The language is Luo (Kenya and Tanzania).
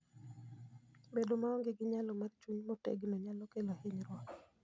Bedo maonge gi nyalo mar chung' motegno nyalo kelo hinyruok.